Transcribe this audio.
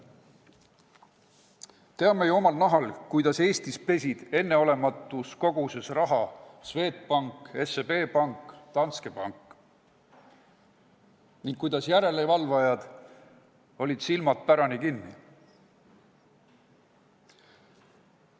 Teame ju omal nahal, kuidas Eestis pesid enneolematus koguses raha Swedbank, SEB Pank ja Danske Bank ning kuidas järelevalvajad olid silmad pärani kinni.